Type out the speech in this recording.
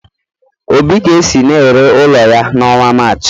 Obi ga-esi na-ere ụlọ ya n'ọnwa Maachị.